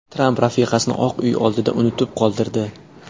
Tramp rafiqasini Oq Uy oldida unutib qoldirdi .